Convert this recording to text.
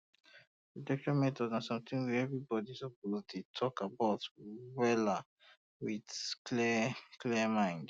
protection methods na something wey everybody um suppose dey talk about um wella with um clear clear mind